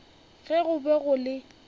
ge go be go le